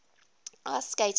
ice skating works